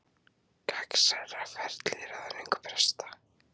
Gegnsærra ferli í ráðningu presta